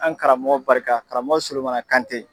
An karamɔgɔ barika karamɔgɔ Sulemana Kante.